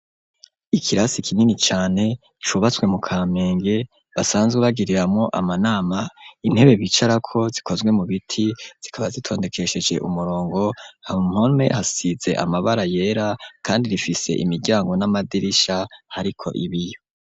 Ikirasi kinini cane cubatswe mu kamenge basanzwe bagiriramwo amanama intebe bicarako zikozwe mu biti zikaba zitondekesheje umurongo mu mpome hasize amabara yera kandi rifise imiryango n'amadirisha hariko ibiyo.